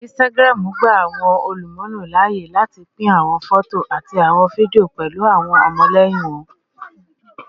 Instagram gba awọn olumulo laaye lati pin awọn fọto ati awọn fidio pẹlu awọn ọmọlẹyin wọn